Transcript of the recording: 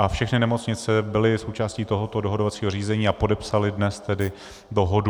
A všechny nemocnice byly součástí tohoto dohodovacího řízení a podepsaly dnes tedy dohodu.